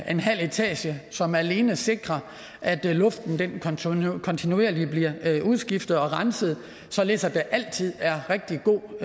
en halv etage som alene sikrer at luften kontinuerligt bliver udskiftet og renset således at der altid er rigtig god